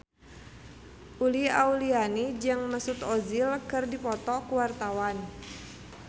Uli Auliani jeung Mesut Ozil keur dipoto ku wartawan